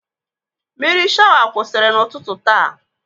Mmiri shawa kwụsịrị n'ụtụtụ taa.